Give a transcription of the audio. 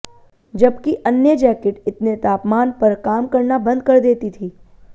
जबकि अन्य जैकट इतने तापमान पर काम करना बंद कर देती थी